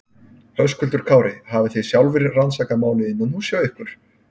Höskuldur Kári: Hafi þið sjálfir rannsakað málið innanhúss hjá ykkur?